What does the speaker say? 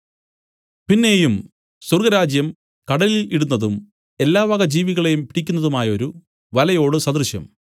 പിന്നെയും സ്വർഗ്ഗരാജ്യം കടലിൽ ഇടുന്നതും എല്ലാവക ജീവികളേയും പിടിക്കുന്നതുമായൊരു വലയോടു സദൃശം